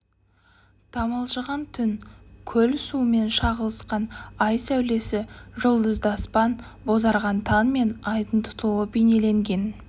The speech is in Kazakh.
тамылжыған түн көл суымен шағылысқан ай сәулесі жұлдызды аспан бозарған таң мен айдың тұтылуы бейнеленген